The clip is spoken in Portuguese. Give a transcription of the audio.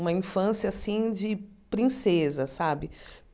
uma infância, assim, de princesa, sabe?